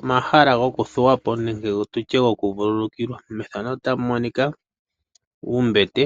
Omahala gokuthuwapo nenge gokuvululukilwa ohamu kala muna uumbete.